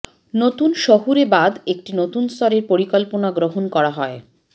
নতুন শহুরেবাদ একটি নতুন স্তরের পরিকল্পনা গ্রহণ করা হয়